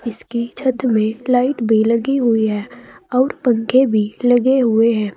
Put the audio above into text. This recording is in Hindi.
इसकी छत में लाइट भी लगी हुई है और पंखे भी लगे हुए हैं।